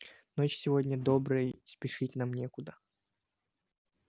ночь сегодня добрая и спешить нам некуда